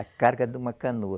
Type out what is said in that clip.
A carga de uma canoa.